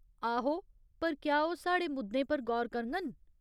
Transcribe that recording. आहो, पर क्या ओह् साढ़े मुद्दें पर गौर करङन ?